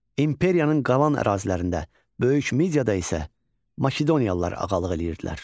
İmperiyanın qalan ərazilərində, Böyük Midiyada isə Makedoniyalılar ağalıq edirdilər.